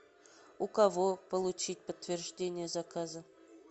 у кого получить подтверждение заказа